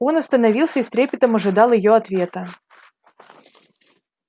он остановился и с трепетом ожидал её ответа